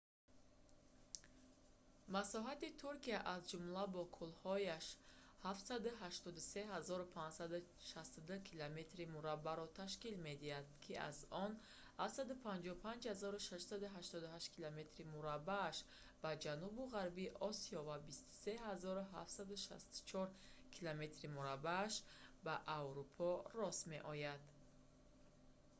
масоҳати туркия аз ҷумла бо кӯлҳояш 783 562 километри мураббаъро ташкил медиҳад ки 300 948 мили мураббаъ аз он 755 688 километри мураббааш 291 773 мили мураббаъ ба ҷанубу ғарби осиё ва 23 764 километри мураббааш 9 174 мили мураббаъ ба аврупо рост меояд